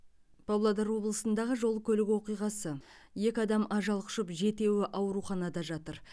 павлодар облысындағы жол көлік оқиғасы екі адам ажал құшып жетеуі ауруханада жатыр